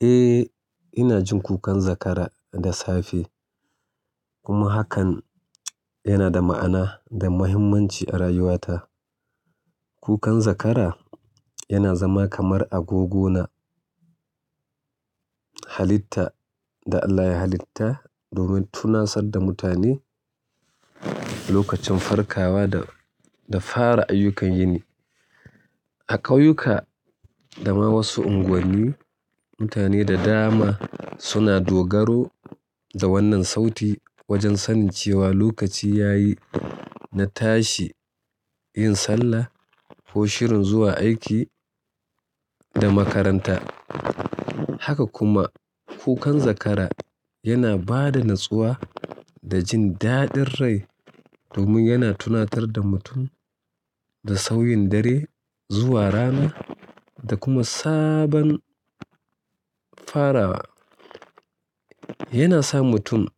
Eh ina jin kukan zakara da safe kuma hakan yana da ma'ana da muhimmanci a rayuwata. Kukan zakara yana zama kamar agogo na halitta da Allah ya halitta domin tunatsar da mutane lokacin farkawa da, da fara ayyukan yini. A ƙauyuka da ma wasu unguwanni. Mutane da dama suna dogaro da wannan sauti wajen sanin cewa lokaci yayi. Na tashi yin sallah ko shirin zuwa aiki da makaranta. Haka kuma kukan zakara yana ba da natsuwa da jin daɗin rai. Domin yana tunatar da mutum da sauyin dare zuwa rana da kuma sabon farawa. Yana sa mutum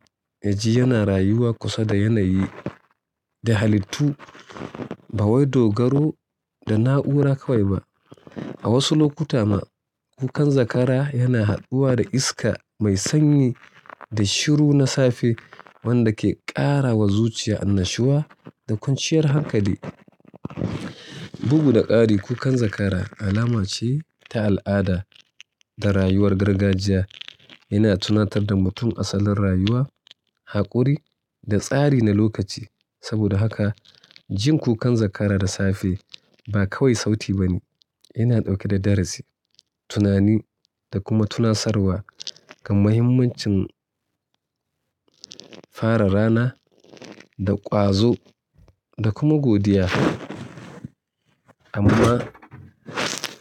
ya ji yana rayuwa kusa da yanayi da halittu. Ba wai dogaro da na'ura kawai ba. A wasu lokuta ma kukan zakara yana haɗuwa da iska mai sanyi. Da shiru na safe wanda ke ƙara wa zuciya annashuwa da kwanciyar hankali. Bugu da ƙari kukan zakara alama ce ta al'ada. Da rayuwar gargajiya yana tunatar da mutum asalin rayuwa, haƙuri da tsari na lokaci. Saboda haka jin kukan zakara da safe ba kawai sauti bane, yana ɗauke da darasi, tunani da kuma tunatsarwa kan muhimmancin. Fara rana da ƙwazo da kuma godiya amma.